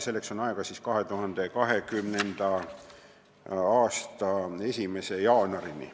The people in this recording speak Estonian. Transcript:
Selleks on aega 2020. aasta 1. jaanuarini.